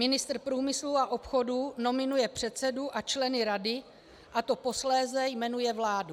Ministr průmyslu a obchodu nominuje předsedu a členy rady, a ty posléze jmenuje vláda.